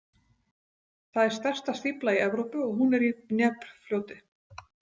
Það er stærsta stífla í Evrópu og hún er í Dnépr- fljóti.